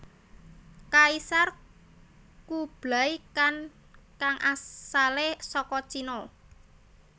Kaisar Kublai Khan kang asalé saka Cina